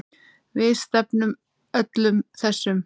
Við stefnum öllum þessum